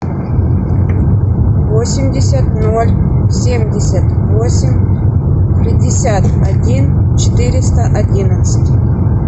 восемьдесят ноль семьдесят восемь пятьдесят один четыреста одиннадцать